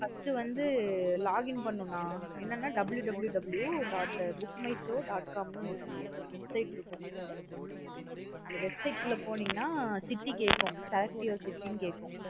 First உ வந்து login பண்ணணு நா www dot book my show dot com னு ஒரு website இருக்கும் அந்த website குள்ள போநீங்கனா city கேக்கும் select your city னு கேக்கும்.